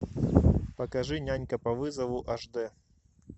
покажи нянька по вызову аш дэ